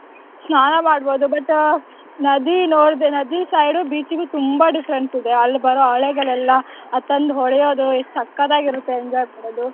ಸ್ನಾನ ಮಾಡ್ಬೋದು but ನದಿ ನೋಡ್ದೆ ನದಿ side beach ಗೂ ತುಂಬಾ difference ಇದೆ, ಅಲ್ ಬರೋ ಅಲೆಗಳೆಲ್ಲ ಅದ್ ತಂದ್ ಹೊಡೆಯೋದು ಎಷ್ಟ್ ಸಕ್ಕತ್ ಆಗಿರತ್ತೆ enjoy ಮಾಡ್ಬೋದು.